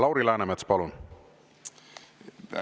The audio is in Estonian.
Lauri Läänemets, palun!